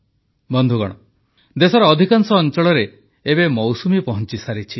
ବନ୍ଧୁଗଣ ଦେଶର ଅଧିକାଂଶ ଅଂଚଳରେ ଏବେ ମୌସୁମି ପହଂଚିସାରିଛି